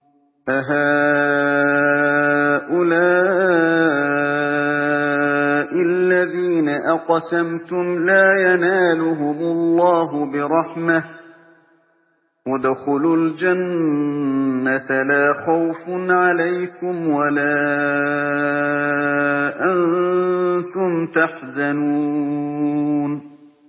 أَهَٰؤُلَاءِ الَّذِينَ أَقْسَمْتُمْ لَا يَنَالُهُمُ اللَّهُ بِرَحْمَةٍ ۚ ادْخُلُوا الْجَنَّةَ لَا خَوْفٌ عَلَيْكُمْ وَلَا أَنتُمْ تَحْزَنُونَ